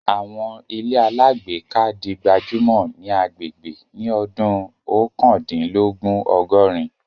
Àwọn ilé alágbèéká di gbajúmọ̀ ní agbègbè ní ọdún Oókandínlogún Ọgọ̀rin